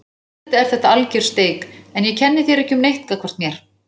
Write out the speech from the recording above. Auðvitað er þetta alger steik en ég kenni þér ekki um neitt gagnvart mér.